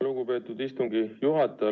Lugupeetud istungi juhataja!